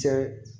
Cɛ